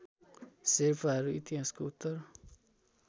शेर्पाहरू इतिहासको उत्तर